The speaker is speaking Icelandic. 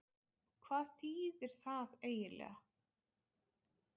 Hvað þýðir það eiginlega?